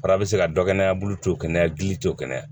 Fara bi se ka dɔ kɛnɛ a bolo to kɛnɛya gili to kɛnɛya